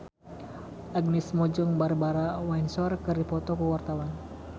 Agnes Mo jeung Barbara Windsor keur dipoto ku wartawan